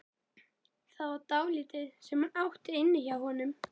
Það var dálítið sem hún átti inni hjá honum.